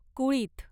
कुळीथ